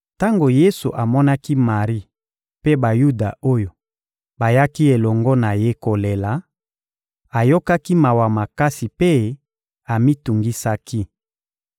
Tango Yesu amonaki Mari mpe Bayuda oyo bayaki elongo na ye kolela, ayokaki mawa makasi mpe amitungisaki.